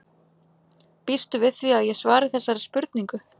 Býstu við því að ég svari þessari spurningu?